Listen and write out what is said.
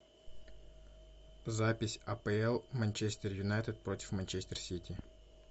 запись апл манчестер юнайтед против манчестер сити